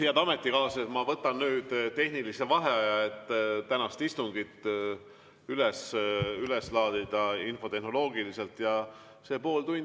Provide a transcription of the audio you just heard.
Head ametikaaslased, ma võtan nüüd tehnilise vaheaja, et tänane istung infotehnoloogiliselt üles laadida.